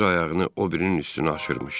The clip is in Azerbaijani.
Bir ayağını o birinin üstünə aşırmışdı.